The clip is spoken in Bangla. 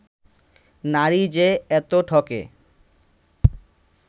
নারী যে এত ঠকে